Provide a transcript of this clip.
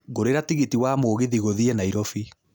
ngũriĩra tigiti wa mũgithi gũthiĩ nairobi